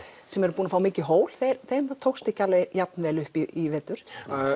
sem eru búnir að fá mikið hól þeim tókst ekki alveg jafn vel upp í vetur